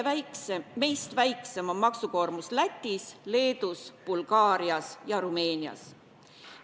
Meist väiksem on maksukoormus Lätis, Leedus, Bulgaarias ja Rumeenias.